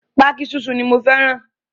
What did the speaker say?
Pákí sísun ni mo fẹ́ràn.